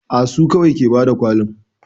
A su kawai ke bada kwalin